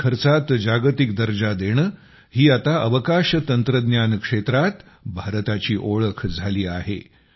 कमी खर्चात जागतिक दर्जा देणे ही आता अवकाश तंत्रज्ञान क्षेत्रात भारताची ओळख झाली आहे